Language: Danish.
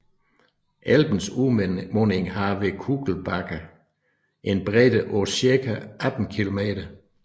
Elbens munding har ved Kugelbake en bredde på cirka 18 km